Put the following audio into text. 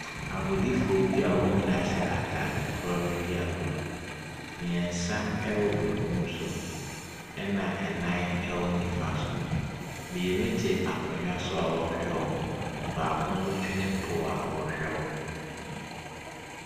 Agodifoɔ bi a wɔn nyinaa hyɛ ataade korɔ redi agorɔ. Mmiɛnsa wɔ benkum so, ɛna nan wɔ nimfa so. Mmienu te akonnwa so a wɔrehwɛ wɔn. Baako nso twere pool a ɔrehwɛ wɔn.